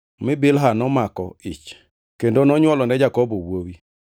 mi Bilha nomako ich kendo nonywolone Jakobo wuowi.